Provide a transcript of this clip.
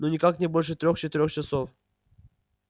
ну никак не больше трёх-четырёх часов